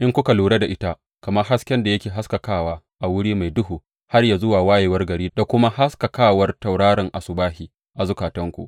in kuka lura da ita, kamar hasken da yake haskakawa a wuri mai duhu, har yă zuwa wayewar gari da kuma haskakawar tauraron asubahi a zukatanku.